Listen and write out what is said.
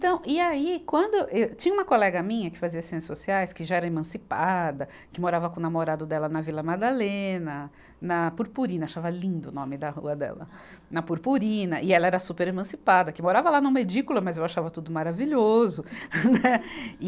E aí quando, ê, tinha uma colega minha que fazia Ciências Sociais, que já era emancipada, que morava com o namorado dela na Vila Madalena, na Purpurina – achava lindo o nome da rua dela – na Purpurina, e ela era super emancipada, que morava lá numa edícula, mas eu achava tudo maravilhoso. né, e